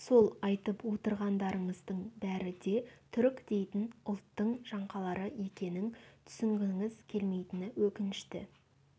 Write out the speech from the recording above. сол айтып отырғандарыңыздың бәрі де түрік дейтін ұлттың жаңқалары екенін түсінгіңіз келмейтіні өкінішті